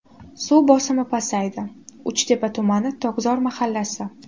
Suv bosimi pasayadi: Uchtepa tumani: Tokzor mahallasi.